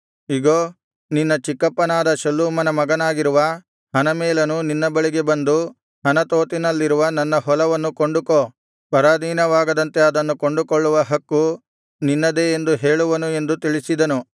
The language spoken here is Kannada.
ಇಗೋ ನಿನ್ನ ಚಿಕ್ಕಪ್ಪನಾದ ಶಲ್ಲೂಮನ ಮಗನಾಗಿರುವ ಹನಮೇಲನು ನಿನ್ನ ಬಳಿಗೆ ಬಂದು ಅನಾತೋತಿನಲ್ಲಿರುವ ನನ್ನ ಹೊಲವನ್ನು ಕೊಂಡುಕೋ ಪರಾಧೀನವಾಗದಂತೆ ಅದನ್ನು ಕೊಂಡುಕೊಳ್ಳುವ ಹಕ್ಕು ನಿನ್ನದೇ ಎಂದು ಹೇಳುವನು ಎಂದು ತಿಳಿಸಿದನು